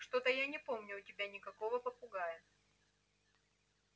что-то я не помню у тебя никакого попугая